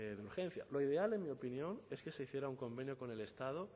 de urgencia lo ideal en mi opinión es que se hiciera un convenio con el estado